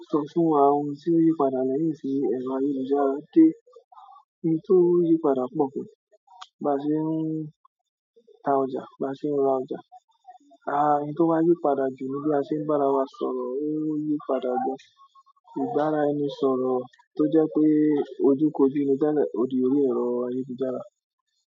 Sọ fún wa àwọn ohun tí ó yí padà lẹ́yìn tí ẹ̀rọ ayélujára dé ohun tí ó yí padà pọ̀ gan, ba ṣe ń ta ọjà, ba ṣe ń ra ọjà. À há ohun tí ó bá yí padà jù ní bí a ṣe ń bára wa sọ̀rọ̀, ó yí padà gan, ìbára ẹni sọ̀rọ̀ tó jẹ́ pé ojúkòjú, odi ò rí ẹ̀rọ ayélujára.